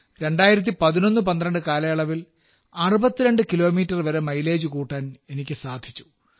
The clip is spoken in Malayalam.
201112 കാലയളവിൽ 62 കിലോമീറ്റർ വരെ മൈലേജ് കൂട്ടാൻ എനിക്ക് സാധിച്ചു